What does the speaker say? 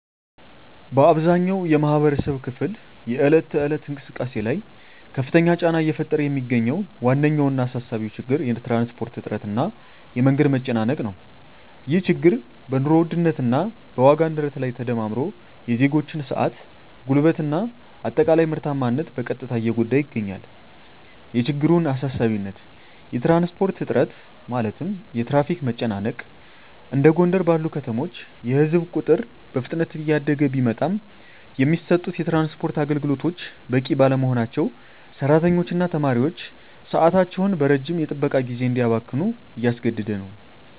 በአብዛኛው የማኅበረሰብ ክፍል የዕለት ተዕለት እንቅስቃሴ ላይ ከፍተኛ ጫና እየፈጠረ የሚገኘው ዋነኛውና አሳሳቢው ችግር የትራንስፖርት እጥረት እና የመንገድ መጨናነቅ ነው። ይህ ችግር በኑሮ ውድነት እና በዋጋ ንረት ላይ ተደማምሮ የዜጎችን ሰዓት፣ ጉልበት እና አጠቃላይ ምርታማነት በቀጥታ እየጎዳ ይገኛል። የችግሩን አሳሳቢነት የትራንስፖርት እጥረት (የትራፊክ መጨናነቅ): እንደ ጎንደር ባሉ ከተሞች የሕዝብ ቁጥር በፍጥነት እያደገ ቢመጣም፣ የሚሰጡት የትራንስፖርት አገልግሎቶች በቂ ባለመሆናቸው ሠራተኞችና ተማሪዎች ሰዓታቸውን በረጅም የጥበቃ ጊዜ እንዲያባክኑ እያስገደደ ነው።